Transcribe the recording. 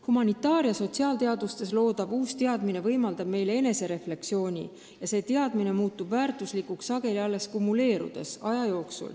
Humanitaar- ja sotsiaalteadustes loodavad uued teadmised võimaldavad meile aga refleksiooni ja sellised teadmised muutuvad väärtuslikuks sageli alles aja jooksul kumuleerudes.